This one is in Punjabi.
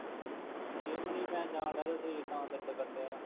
ਜ਼ਿੰਮ ਨਹੀਂ ਮੈਂ ਜਾਣ ਡਿਆ ਅਤੇ ਸਰੀਰ ਤਾਂ ਦਰਦ ਕਰਨ ਡਿਆ ਵਾ